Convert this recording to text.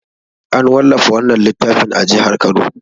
An wallafa wannan littafin a jihar Kano.